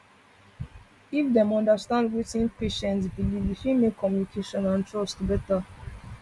if dem understand wetin patient wetin patient believe e fit make communication and trust better